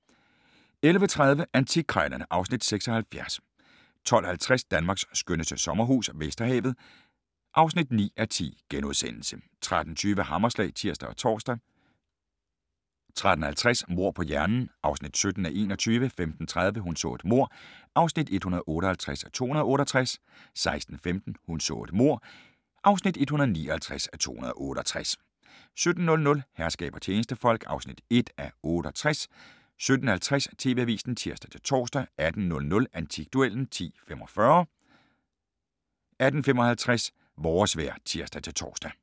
11:30: Antikkrejlerne (Afs. 76) 12:50: Danmarks skønneste sommerhus - Vesterhavet (9:10)* 13:20: Hammerslag (tir og tor) 13:50: Mord på hjernen (17:21) 15:30: Hun så et mord (158:268) 16:15: Hun så et mord (159:268) 17:00: Herskab og tjenestefolk (1:68) 17:50: TV-avisen (tir-tor) 18:00: Antikduellen (10:45) 18:55: Vores vejr (tir-tor)